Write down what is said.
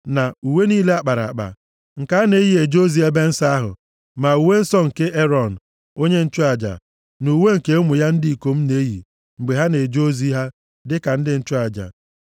na uwe niile a kpara akpa, nke a na-eyi eje ozi nʼebe nsọ ahụ, ma uwe nsọ nke Erọn, onye nchụaja, na uwe nke ụmụ ya ndị ikom na-eyi mgbe ha na-eje ozi ha dịka ndị nchụaja.